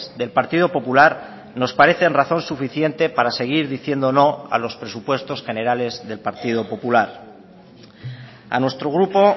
del partido popular nos parecen razón suficiente para seguir diciendo no a los presupuestos generales del partido popular a nuestro grupo